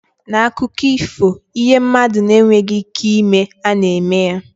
N'akụkọ ifo, ihe mmadụ na-enweghị ike ịme, a na-eme ya.